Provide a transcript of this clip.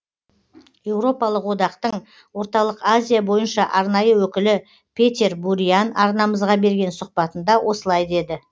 еуропалық одақтың орталық азия бойынша арнайы өкілі петер буриан арнамызға берген сұхбатында осылай деді